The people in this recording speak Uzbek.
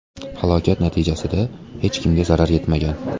Halokat natijasida hech kimga zarar yetmagan.